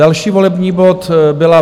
Další volební bod byl